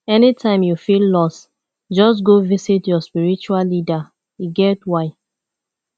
anytime you feel lost just go visit your spiritual leader e get why